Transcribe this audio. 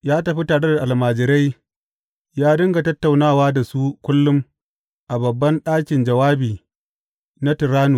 Ya tafi tare da almajirai ya dinga tattaunawa da su kullum a babban ɗakin jawabi na Tirannus.